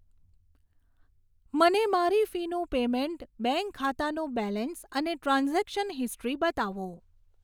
મને મારી ફીનું પેમેન્ટ બેંક ખાતાનું બેલેન્સ અને ટ્રાન્ઝૅક્શન હિસ્ટ્રી બતાવો